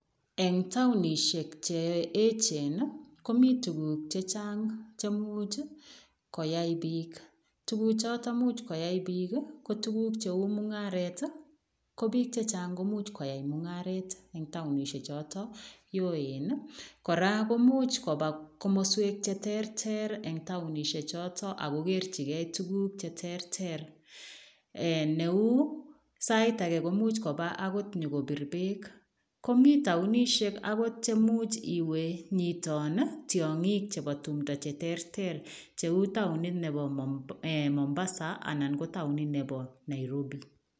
Eng taonisiek che eechen ii, komi tuguk chechang che much koyai biik. Tuguchoto imuch koyai biik ko tuguk cheu mungaret ko biik che chang ko much koyai mungaret eng taonisiechoto oen. Kora komuch komswek cheterter eng taonisiechoto ago kerchigei tuguk cheterter neu sait age komuch koba nyokobir beek. Komi taonisiek agot chemuch nyiton tiongik chebo tumndo cheterter cheu taonit nebo Mombasa anan ko taonit nebo Nairobi.